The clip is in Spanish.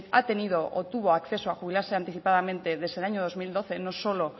ha tenido o tuvo acceso a jubilarse anticipadamente desde el año dos mil doce no solo